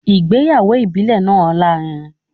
Ìgbéyàwó ìbílẹ̀ náà lárinrin